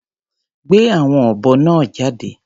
Gbé àwọn ọ̀bọ náà jáde.